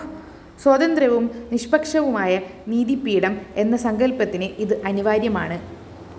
സ്വതന്ത്രവും നിഷ്പക്ഷവുമായ നീതിപീഠം എന്ന സങ്കല്‍പ്പത്തിന് ഇത് അനിവാര്യമാണ്